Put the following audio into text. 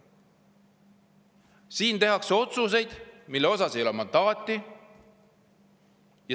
Siin tehakse otsuseid, mille jaoks ei ole mandaati.